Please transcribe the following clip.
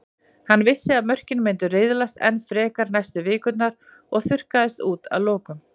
Hann vissi að mörkin myndu riðlast enn frekar næstu vikurnar og þurrkast út að lokum.